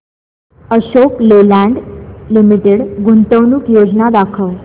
Ashok Leyland Limited गुंतवणूक योजना दाखव